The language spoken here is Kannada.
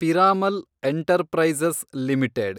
Piramal enterprises limited